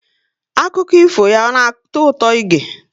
Akụkọ ifo ya ọ na atọ ụtọ ị ge?